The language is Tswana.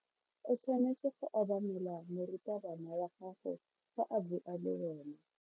O tshwanetse go obamela morutabana wa gago fa a bua le wena.